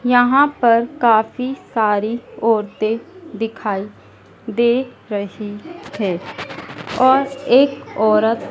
यहां पर काफी सारी औरते दिखाई दे रही है और एक औरत--